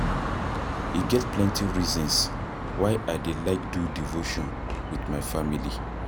E get plenty reasons why I dey like do devotion wit my family.